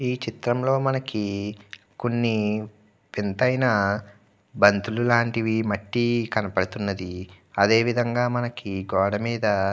ఈ చిత్రం లో మనకీ కొన్ని వింతైన బంతులు లాంటిది మట్టి కనబడుతున్నది. అదే విధంగా మనకి గోడ మీదా--